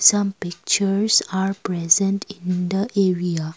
some pictures are present in the area.